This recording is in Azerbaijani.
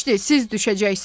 Siz düşəcəksiniz.